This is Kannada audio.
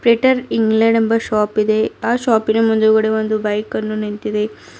ಪೀಟರ್ ಇಂಗ್ಲೆಂಡ್ ಎಂಬ ಶಾಪ್ ಇದೆ ಆ ಶಾಪಿನ ಮುಂದುಗಡೆ ಒಂದು ಬೈಕನ್ನು ನಿಂತಿದೆ.